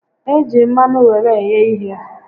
E ji mmanụ were eghe ihe